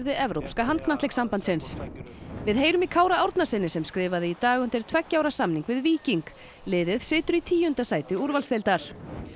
Evrópska við heyrum í Kára Árnasyni sem skrifaði í dag undir tveggja ára samning við Víking liðið situr í tíunda sæti úrvalsdeildar